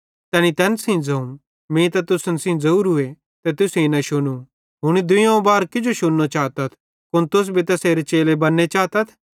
तैनी तैन सेइं ज़ोवं मीं त तुसन सेइं ज़ोवरूए ते तुसेईं न शुनू हुनी दुइयोवं बार किजो शुनू चातथ कुन तुस भी तैसेरे चेले बन्ने चातथ